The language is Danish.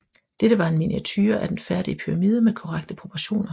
Dette var en miniature af den færdige pyramide med korrekte proportioner